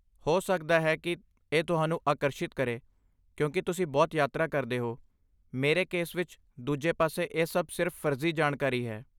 ਹੋ ਸਕਦਾ ਹੈ ਕਿ ਇਹ ਤੁਹਾਨੂੰ ਆਕਰਸ਼ਿਤ ਕਰੇ ਕਿਉਂਕਿ ਤੁਸੀਂ ਬਹੁਤ ਯਾਤਰਾ ਕਰਦੇ ਹੋ, ਮੇਰੇ ਕੇਸ ਵਿੱਚ, ਦੂਜੇ ਪਾਸੇ, ਇਹ ਸਭ ਸਿਰਫ ਫਰਜ਼ੀ ਜਾਣਕਾਰੀ ਹੈ।